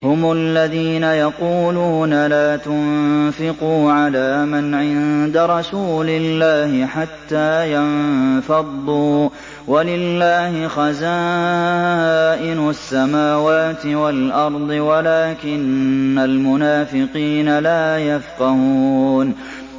هُمُ الَّذِينَ يَقُولُونَ لَا تُنفِقُوا عَلَىٰ مَنْ عِندَ رَسُولِ اللَّهِ حَتَّىٰ يَنفَضُّوا ۗ وَلِلَّهِ خَزَائِنُ السَّمَاوَاتِ وَالْأَرْضِ وَلَٰكِنَّ الْمُنَافِقِينَ لَا يَفْقَهُونَ